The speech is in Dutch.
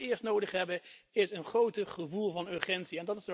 Wat we echter allereerst nodig hebben, is een groter gevoel van urgentie.